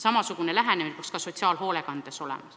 Samasugune lähenemine peaks kehtima ka sotsiaalhoolekandes.